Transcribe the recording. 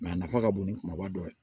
a nafa ka bon ni kumaba dɔ ye